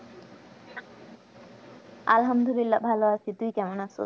আল্লাহামদুল্লিলাহ ভালো আছি তুই কেমন আছো?